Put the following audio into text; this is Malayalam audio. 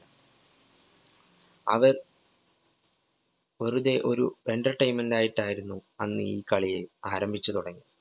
അവര്‍ വെറുതെ ഒരു entertainment നായിട്ടായിരുന്നു അന്ന് ഈ കളിയെ ആരംഭിച്ചു തുടങ്ങി.